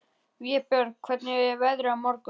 Vébjörn, hvernig er veðrið á morgun?